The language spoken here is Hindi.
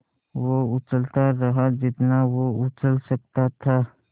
वो उछलता रहा जितना वो उछल सकता था